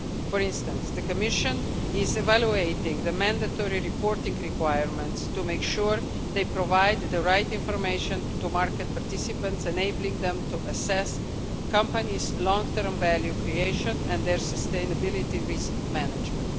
For instance, the Commission is evaluating the mandatory reporting requirements to make sure they provided the right information to market participants, enabling them to assess companies' long term value creation and their sustainability risk management.